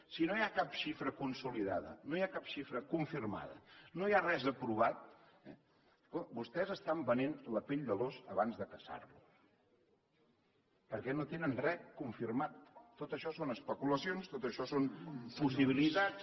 si no hi ha cap xifra consolidada no hi ha cap xifra confirmada no hi ha res aprovat vostès estan venent la pell de l’ós abans de caçar lo perquè no tenen re confirmat tot això són especulacions tot això són possibilitats